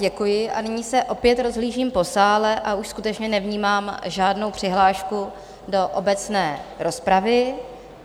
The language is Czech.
Děkuji a nyní se opět rozhlížím po sále a už skutečně nevnímám žádnou přihlášku do obecné rozpravy.